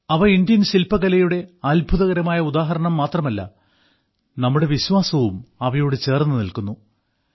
അവ ഇന്ത്യൻ ശില്പകലയുടെ അത്ഭുതകരമായ ഉദാഹരണം മാത്രമല്ല നമ്മുടെ വിശ്വാസവും ചേർന്നു നില്ക്കുന്നവയാണ്